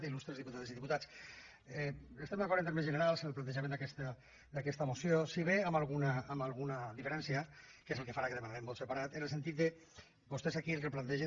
illustres diputades i diputats estem d’acord en termes generals en el plantejament d’aquesta moció si bé amb alguna diferència que és el que farà que demanem vot separat en el sentit que vostès aquí el que plantegen